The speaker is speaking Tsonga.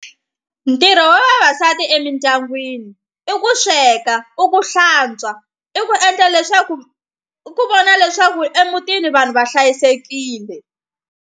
Ntirho wa vavasati emindyangwini i ku sweka i ku hlantswa i ku endla leswaku ku vona leswaku emutini vanhu va hlayisekile.